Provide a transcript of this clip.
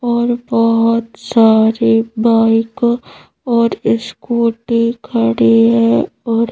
और बहोत सारे बाइक और इस्कुटी खड़ी है और --